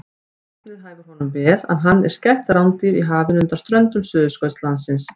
Nafnið hæfir honum vel en hann er skætt rándýr í hafinu undan ströndum Suðurskautslandsins.